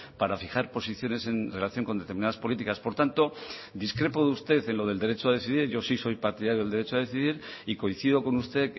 para fijar posiciones en relación con determinadas políticas por tanto discrepo de usted en lo del derecho a decidir yo sí soy partidario del derecho a decidir y coincido con usted